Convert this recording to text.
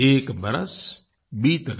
एक बरस बीत गया